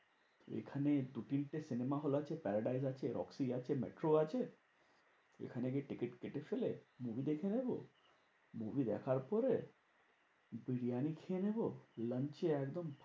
এখানে দু তিনটে cinema hall আছে। প্যারাডাইস আছে, রকি আছে, মেট্রো আছে, এখানে গিয়ে টিকিট কেটে ফেলে movie দেখে নেবো movie দেখার পরে বিরিয়ানি খেয়ে নেবো বিরিয়ানি খেয়ে একদম